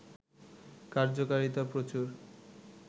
কার্যকারিতা প্রচুর